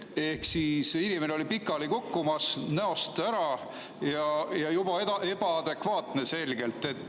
Ehk inimene oli pikali kukkumas, näost ära ja juba selgelt ebaadekvaatne.